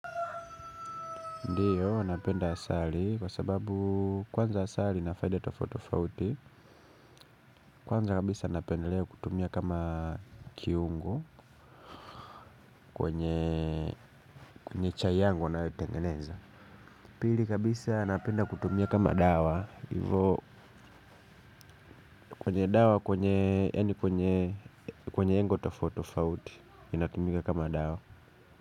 Ndiyo napenda asali kwa sababu kwanza asali ina faida tofauti tofauti. Kwanza kabisa napendelea kutumia kama kiungo kwenye chai yangu nayotengeneza. Pili kabisa napenda kutumia kama dawa hivyo kwenye dawa kwenye yaani kwenye kwenye lengo tofauti tofauti inatumika kama dawa.